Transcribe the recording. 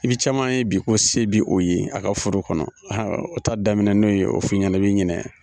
I bi caman ye bi ko se bi o ye a ka furu kɔnɔ ha o ta daminɛ n'o ye o f'i ɲɛnɛ i bi ɲinɛ.